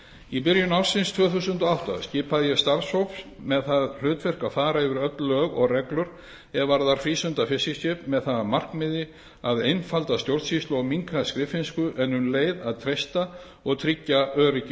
í byrjun ársins tvö þúsund og átta skipaði ég starfshóp með það hlutverk að fara yfir öll lög og reglur er varða frístundafiskiskip með það að markmiði að einfalda stjórnsýslu og minnka skriffinsku en um leið að treysta og tryggja öryggi